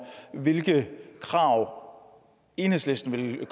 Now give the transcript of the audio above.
hvilke krav enhedslisten vil